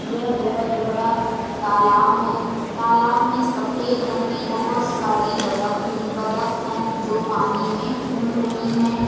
यह बोहोत बड़ा तालाब है। तालाब में सफेद रंग की बोहोत सारी बदक हुई बदक हैं जो पानी में घूम रही हैं।